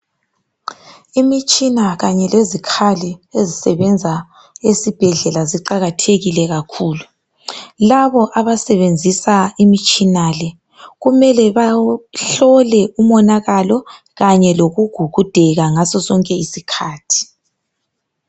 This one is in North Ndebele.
Imitshina kanye lezikhali ezisebenza esibhedlela ziqakathekile kakhulu. Labo abasebenzisa imitshina le kumele bahlole umonakalo kanye lokugugudeka ngaso sonke isikhathi.